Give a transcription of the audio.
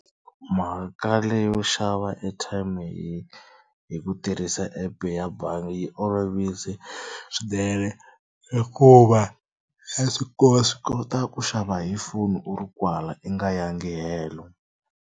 Mhaka leyo xava airtime hi hi ku tirhisa app ya bangi yi olovise swinene hikuva ya swi kota swi kota ku xava hi foni u ri kwala i nga yangi helo.